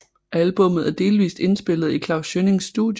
Albummet er delvist indspillet i Klaus Schønnings studie